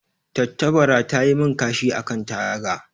Tattabara ta yi min kashi a kan taga.